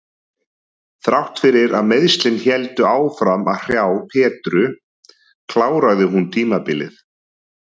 Þrátt fyrir að meiðslin héldu áfram að hrjá Petru kláraði hún tímabilið.